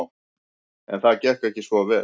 En það gekk ekki svo vel.